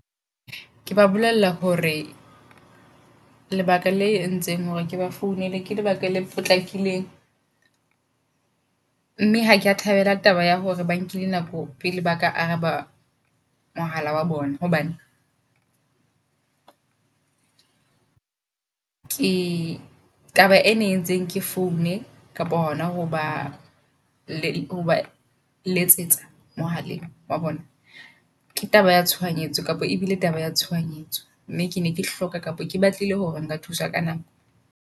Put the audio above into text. Ke ba bolella hore lebaka la entseng hore ke ba founele ke lebaka le potlakileng. Mme ha kea thabela taba ya hore ba nkile nako pele baka araba mohala wa bona hobane ke taba ena e entseng ke foune kapa hona hoba letsetsa mohaleng wa bona. Ke taba ya tshohanyetso kapa ebile taba ya tshohanyetso, mme ke ne ke hloka kapa ke batlile hore nka thuswa ka nako.